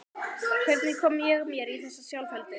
Hvernig kom ég mér í þessa sjálfheldu?